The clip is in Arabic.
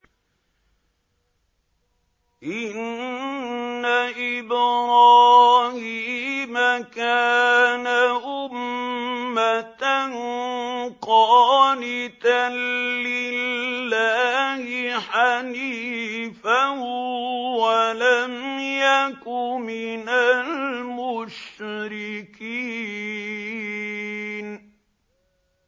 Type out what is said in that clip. إِنَّ إِبْرَاهِيمَ كَانَ أُمَّةً قَانِتًا لِّلَّهِ حَنِيفًا وَلَمْ يَكُ مِنَ الْمُشْرِكِينَ